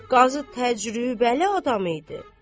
Qazı təcrübəli adam idi.